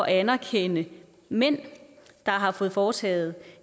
at anerkende mænd der har fået foretaget